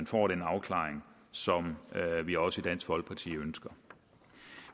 får den afklaring som vi også i dansk folkeparti ønsker